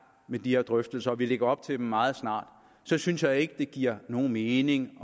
med de her drøftelser og vi lægger op til dem meget snart så synes jeg ikke det giver nogen mening